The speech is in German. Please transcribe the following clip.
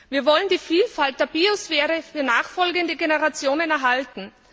Wir wollen die Vielfalt der Biosphäre für nachfolgende Generationen erhalten.